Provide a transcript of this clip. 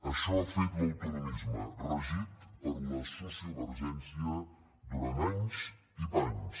això ha fet l’autonomisme regit per la sociovergència durant anys i panys